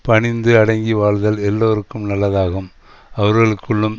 பணிந்து அடங்கி வாழ்தல் எல்லோருக்கும் நல்லதாகும் அவர்களுக்குள்ளும்